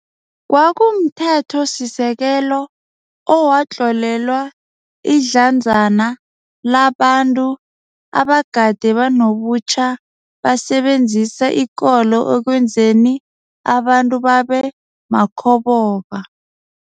KwakumThethosisekelo owatlolelwa idlanzana la bantu abagade banobutjhaba basebenzisa ikolo ekwenzeni abantu babe makhoboka.